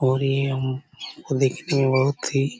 और ये हु देखने में बहुत ही--